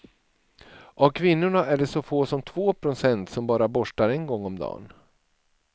Av kvinnorna är det så få som två procent som bara borstar en gång om dagen.